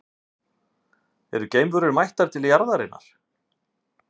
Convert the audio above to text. Eru geimverur mættar til jarðarinnar?